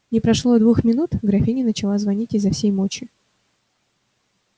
не прошло и двух минут графиня начала звонить изо всей мочи